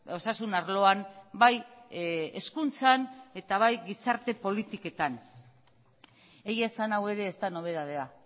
osasun arloan bai hezkuntzan eta bai gizarte politiketan egia esan hau ere ez da nobedadea